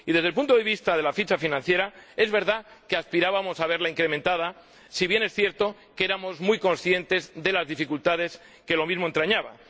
En cuanto a la ficha de financiación, es verdad que aspirábamos a verla incrementada, si bien es cierto que éramos muy conscientes de las dificultades que lo mismo entrañaba.